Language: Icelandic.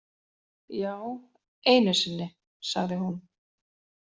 Já, einu sinni, sagði hún.